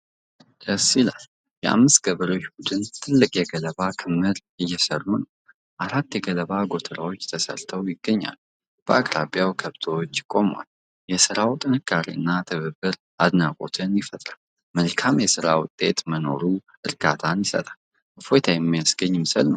ደስ ይላል! የአምስት ገበሬዎች ቡድን ትልቅ የገለባ ክምር እየሰሩ ነው። አራት የገለባ ጎተራዎች ተሰርተው ይገኛሉ። በአቅራቢያ ከብቶች ቆመዋል። የስራው ጥንካሬ እና ትብብር አድናቆት ይፈጥራል። መልካም የስራ ውጤት መኖሩ እርካታን ይሰጣል። እፎይታ የሚያስገኝ ምስል ነው!